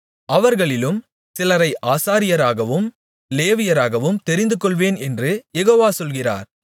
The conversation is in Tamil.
அவர்களிலும் சிலரை ஆசாரியராகவும் லேவியராகவும் தெரிந்துகொள்வேன் என்று யெகோவா சொல்கிறார்